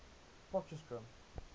potchefstroom